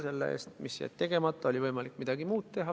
Nende eest, mis jäid tegemata, oli võimalik midagi muud teha.